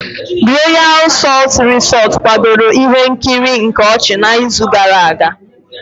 Royal salt Resort kwadoro ihe nkiri nke ochi n'izu gara aga.